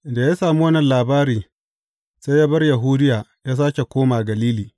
Da ya sami wannan labari, sai ya bar Yahudiya ya sāke koma Galili.